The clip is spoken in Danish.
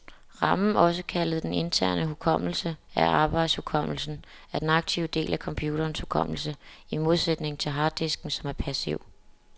Ramen, også kaldet den interne hukommelse eller arbejdshukommelsen, er den aktive del af computerens hukommelse, i modsætning til harddisken, som er passiv.